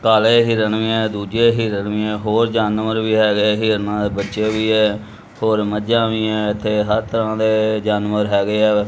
ਕਾਲੇ ਹਿਰਣ ਵੀ ਹੈਂ ਦੁੱਜੇ ਹਿਰਣ ਵੀ ਹੈਂ ਹੋਰ ਜਾਨਵਰ ਵੀ ਹੈਗੇ ਹਿਰਨਾਂ ਦੇ ਬੱਚੇ ਵੀ ਹੈ ਹੋਰ ਮੱਝਾਂ ਵੀ ਹੈਂ ਇੱਥੇ ਹਰ ਤਰ੍ਹਾਂ ਦੇ ਜਾਨਵਰ ਹੈਗੇ ਹੈਂ।